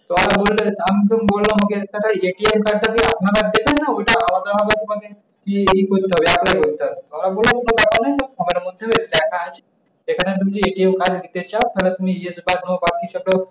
তার বললেন আমি তো বললাম ও কে দাদা card যে আপনারা দেছেন না? ওইটা আলাদা ভাবে এখন এই করতে হবে apply করতে হবে। তারা বলল এখন তো টাকা নেই তা সকালের মধ্যে টাকা আসুক। সেখানে তুমি যদি card নিতে চাও তাহলে তুমি ইয়েতে